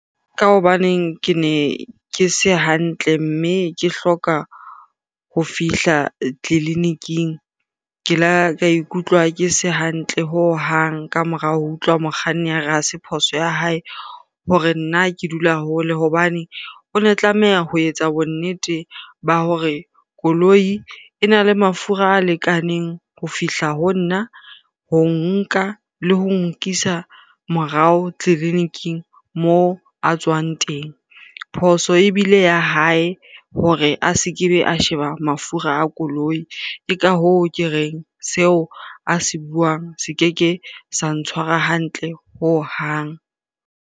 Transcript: Ka hobaneng ke ne ke se hantle mme ke hloka ho fihla tleliniking. Ke la ka ikutlwa ke se hantle hohang ka morao ho utlwa mokganni a re ha se phoso ya hae hore nna ke dula hole hobane, o ne tlameha ho etsa bonnete ba hore koloi e na le mafura a lekaneng ho fihla ho nna, ho nka le ho nkisa morao tleliniking moo a tswang teng. Phoso ebile ya hae hore a se ke be a sheba mafura a koloi. Ke ka hoo ke reng seo a se buang, se keke sa ntshwara hantle hohang.